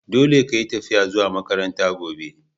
Dolle ka yi tafiya zuwa makaranta gobe!